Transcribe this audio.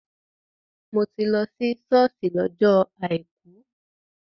Mò ti lọ sí ṣọ́ọ̀ṣì lọ́jọ àìkú.